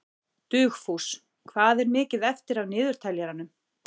Dugfús, hvað er mikið eftir af niðurteljaranum?